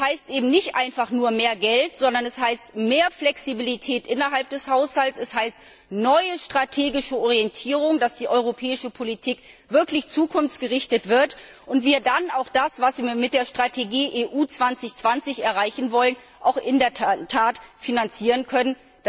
Das heißt eben nicht einfach nur mehr Geld, sondern es heißt mehr Flexibilität innerhalb des Haushalts, es heißt neue strategische Orientierung, dass die europäische Politik wirklich zukunftsgerichtet wird und wir dann auch das, was wir mit der Strategie EU 2020 erreichen wollen, auch in der Tat finanzieren können.